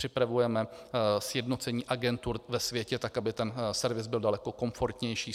Připravujeme sjednocení agentur ve světě tak, aby ten servis byl daleko komfortnější.